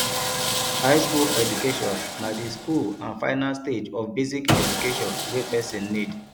high school education na the school and final stage of basic education wey persin need